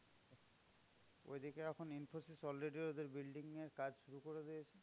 ঐদিকে এখন ইনফোসিস already ওদের building এর কাজ শুরু করে দিয়েছে।